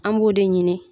An b'o de ɲini